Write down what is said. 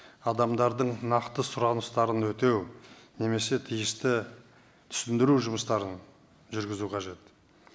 адамдардың нақты сұраныстарын өтеу немесе тиісті түсіндіру жұмыстарын жүргізу қажет